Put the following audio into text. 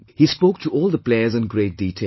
He spoke to all the players in great detail